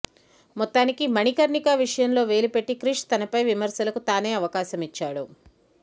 మొత్తానికి మణికర్ణిక విషయంలో వేలు పెట్టి క్రిష్ తనపై విమర్శలకు తానే అవకాశమిచ్చాడు